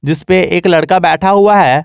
जिसमें पे एक लड़का बैठा हुआ है।